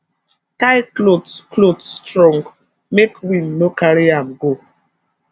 tie cloth cloth strong make wind no carry am go